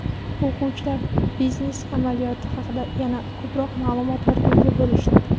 O‘quvchilar biznes amaliyoti haqida yana ko‘proq ma’lumotlarga ega bo‘lishdi.